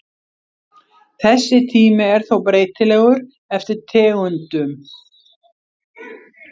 Þessi tími er þó breytilegur eftir tegundum.